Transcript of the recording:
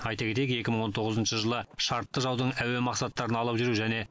айта кетейік екі мың он тоғызыншы жылы шартты жаудың әуе мақсаттарын алып жүру және